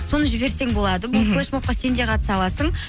соны жіберсең болады флешмобқа сен де қатыса аласың